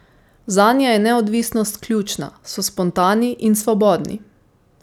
Zanje je neodvisnost ključna, so spontani in svobodni.